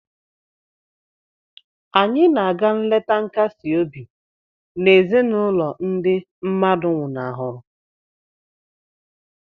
Anyị na-aga nleta nkasi obi na ezinụlọ ndị mmadụ nwụnahụrụ